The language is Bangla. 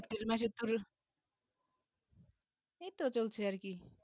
April মাসে ধরো এইতো চলছে আর কি